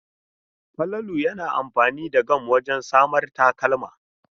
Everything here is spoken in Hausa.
Falalu yana amfani da gam wajen samar takalma.